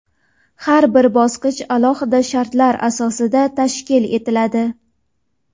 Har bir bosqich alohida shartlar asosida tashkil etiladi.